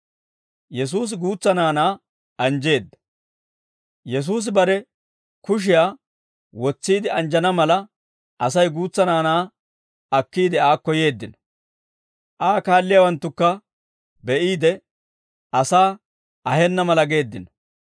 Yesuusi bare kushiyaa wotsiide anjjana mala Asay guutsa naanaa akkiide aakko yeeddino. Aa kaalliyaawanttukka be'iide, asaa ahenna mala geeddino.